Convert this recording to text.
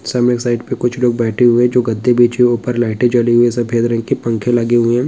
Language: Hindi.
सब में एक साइड पे कुछ लोग बैठे हुए हैं जो गद्दे बिछे ऊपर लाइटें जली हुई हैं सफेद रंग के पंखे लगे हुए हैं।